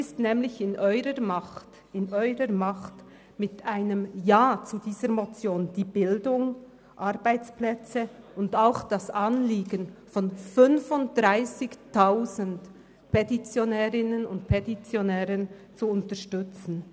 Es liegt in Ihrer Macht, mit einem Ja zu dieser Motion die Bildung, die Arbeitsplätze in Hünibach und auch das Anliegen von 35 000 Petitionärinnen und Petitionären zu unterstützen.